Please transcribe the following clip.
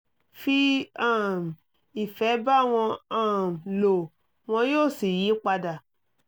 fi um ìfẹ́ bá wọn um lò wọn yóò sì yí padà